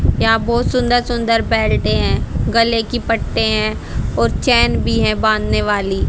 यहां बहोत सुंदर सुंदर बैठे हैं गले की पट्टी हैं और चैन भी है बांधने वाली।